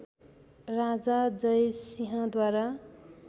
राजा जयसिंह द्वारा